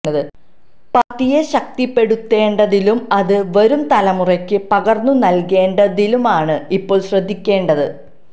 പാര്ട്ടിയെ ശക്തിപ്പെടുത്തേണ്ടതിലും അത് വരും തലമുറയ്ക്ക് പകര്ന്നു നല്കേണ്ടതിലുമാണ് ഇപ്പോള് ശ്രദ്ധിക്കേണ്ടത്